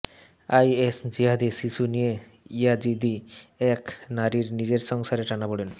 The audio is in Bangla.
আইএস জিহাদির শিশু নিয়ে ইয়াজিদি এক নারীর নিজের সংসারে টানাপোড়েন